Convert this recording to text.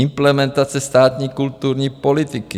Implementace státní kulturní politiky.